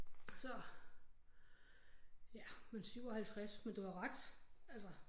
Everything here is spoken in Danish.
Så ja men 57 men du har ret altså